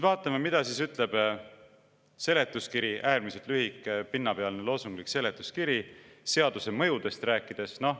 Vaatame, mida ütleb seletuskiri, äärmiselt lühike ja pinnapealne, loosunglik seletuskiri, seaduse mõjudest rääkides.